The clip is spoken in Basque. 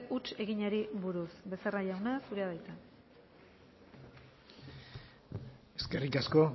huts eginari buruz becerra jauna zurea da hitza eskerrik asko